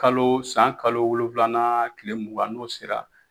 Kalo san kalo wolonfilana tile mugan n'o sera